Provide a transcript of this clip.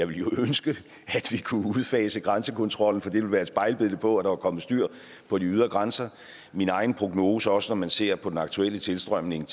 ville ønske at vi kunne udfase grænsekontrollen for det ville være et spejlbillede på at der var kommet styr på de ydre grænser min egen prognose også når man ser på den aktuelle tilstrømning